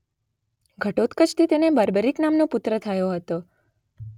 ઘટોત્કચથી તેને બર્બરિક નામનો પુત્ર થયો હતો.